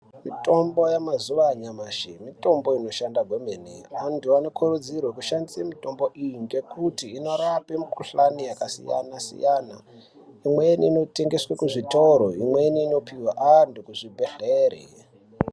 Mitombo yamazuwa anyamashi mutombo inoshanda kwemene antu anokurudzirwe kushandise mitombo iyi ngekuti inorape mikhuhlani yakasiyana siyana umweni inotengeswe kuzvitoro imweni inopihwe antu kuzvibhedhleri.